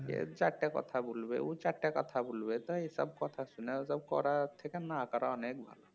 এ চারটে কথা বলবে ও চারটে কথা বলবে এইসব কথা শুনে ওইসব করার থেকে না করা অনেক ভালো